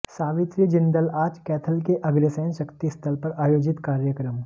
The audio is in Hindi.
सावित्री जिंदल आज कैथल के अग्रसेन शक्ति स्थल पर आयोजित कार्यक्रम